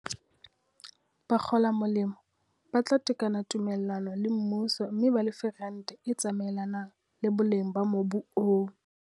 Bakgola molemo ba tla tekena tume llano le mmuso mme ba lefe rente e tsamaelanang le boleng ba mobu oo.